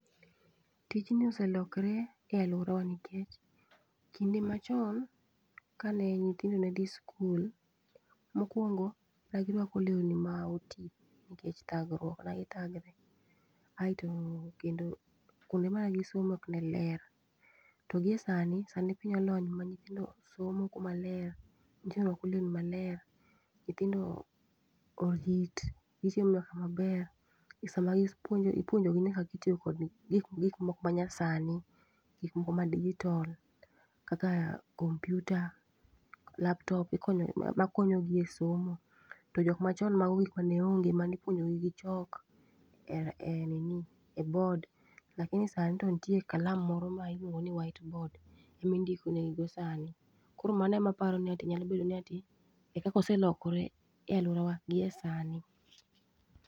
Tijni oselokre e alworawa nikech kinde machon kane nyithindo ne dhi skul, mokwongo ne girwako lewni ma oti nikech thagruok ma githagre. Aeto kendo kuonde mane gisome ok ne ler, to gi e sani, sani piny olony ma nyithindo somo kuma ler. Nyithindo rwako lewni maler, nyithindo orit, gichiemo nyaka maber. E sama gipuonjo ipuonjogi nyaka gitiyo kod gik moko ma nyasani, gik moko ma digital. Kaka kompyuta, laptop, ikonyo gi ma konyogi e somo. To jok machon mago gik ma ne onge manipuonjogi gi chok e bod, lakini sani to nitie kalam moro ma iluongo ni white board emi ndiko negigo sani. Koro mano ema aparo ni ati nyalo bedo ni ati e kakoselore e alworawa gi e sani.